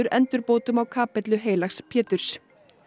endurbótum á kapellu heilags Péturs